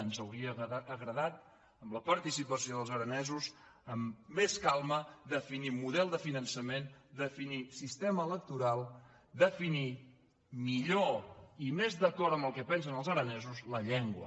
ens hauria agradat amb la participació dels arane·sos amb més calma definir model de finançament defi·nir sistema electoral definir millor i més d’acord amb el que pensen els aranesos la llengua